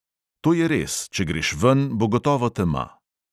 To je res, če greš ven, bo gotovo tema.